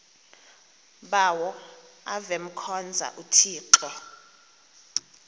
bawo avemkhonza uthixo